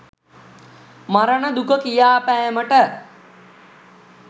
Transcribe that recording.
මරණ දුක කියාපෑමට